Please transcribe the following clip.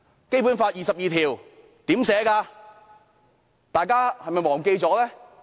《基本法》第二十二條是怎麼寫的，大家是否忘記了？